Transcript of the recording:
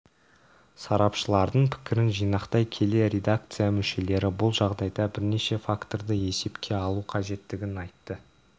сарапшылардың пікірін жинақтай келе редакция мүшелері бұл жағдайда бірнеше факторды есепке алу қажеттігін айтты